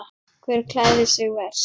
Hver klæðir sig verst?